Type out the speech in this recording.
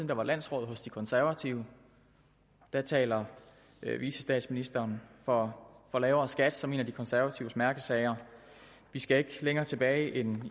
der var landsråd hos de konservative der talte vicestatsministeren for lavere skat som en af de konservatives mærkesager vi skal ikke længere tilbage end